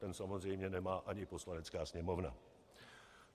Ten samozřejmě nemá ani Poslanecká sněmovna.